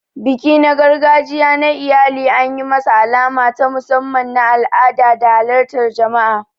Biki na gargajiya na iyali an yi masa alama ta musamman na al'ada da halartar jama'a.